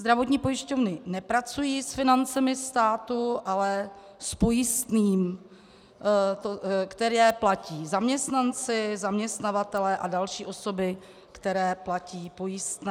Zdravotní pojišťovny nepracují s financemi státu, ale s pojistným, které platí zaměstnanci, zaměstnavatelé a další osoby, které platí pojistné.